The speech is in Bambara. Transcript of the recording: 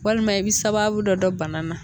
Walima i bi sababu dɔ don bana na